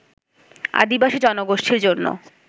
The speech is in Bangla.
আদিবাসী জনগোষ্ঠীর জন্য